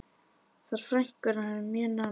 Þær frænkur urðu mjög nánar.